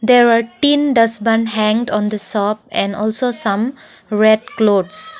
there are tin dustbin hanged on the shop and also some red clothes.